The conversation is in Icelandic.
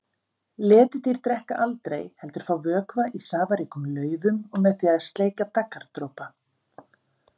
Letidýr drekka aldrei heldur fá vökva í safaríkum laufum og með því að sleikja daggardropa.